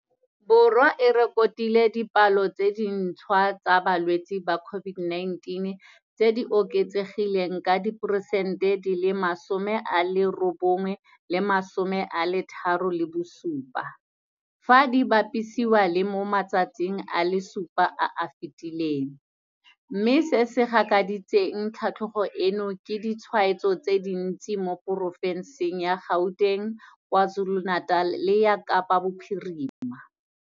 Borwa e rekotile dipalo tse dintšhwa tsa balwetse ba COVID-19 tse di oketsegileng ka diperesente di le masome a robongwe le diperesente di le masome a mararo le bosupa, fa di bapisiwa le mo matsatsing a le supa a a fetileng, mme se se gakaditseng tlhatlhogo eno ke ditshwaetso tse dintsi mo porofenseng ya Gauteng, KwaZulu-Natal le ya Kapa Bophirima.